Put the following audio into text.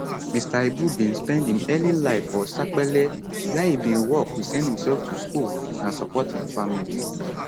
mr ibu bin spend im early life for sapele wia e bin work to send imself to school and support im family